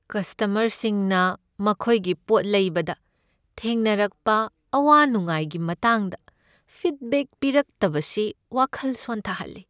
ꯀꯁꯇꯃꯔꯁꯤꯡꯅ ꯃꯈꯣꯏꯒꯤ ꯄꯣꯠ ꯂꯩꯕꯗ ꯊꯦꯡꯅꯔꯛꯞ ꯑꯋꯥ ꯅꯨꯡꯉꯥꯏꯒꯤ ꯃꯇꯥꯡꯗ ꯐꯤꯗꯕꯦꯛ ꯄꯤꯔꯛꯇꯕꯁꯤ ꯋꯥꯈꯜ ꯁꯣꯟꯊꯍꯜꯂꯤ꯫